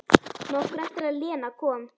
Nokkru eftir að Lena kom.